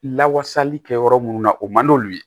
Lawasali kɛyɔrɔ munnu na o man n'olu ye